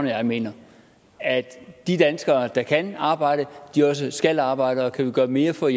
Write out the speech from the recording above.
jeg mener altså at de danskere der kan arbejde også skal arbejde og kan vi gøre mere for